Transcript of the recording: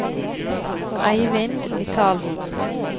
Eivind Mikalsen